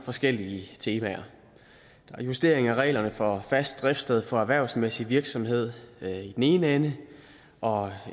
forskellige temaer der er justering af reglerne for fast driftssted for erhvervsmæssig virksomhed i den ene ende og